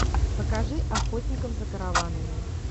покажи охотников за караванами